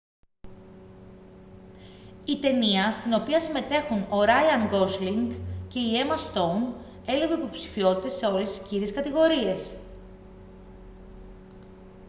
η ταινία στην οποία συμμετέχουν ο ράιαν γκόσλινγκ και η έμα στόουν έλαβε υποψηφιότητες σε όλες τις κύριες κατηγορίες